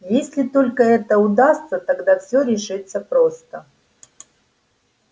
если только это удастся тогда всё решится просто